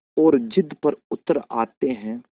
और ज़िद पर उतर आते हैं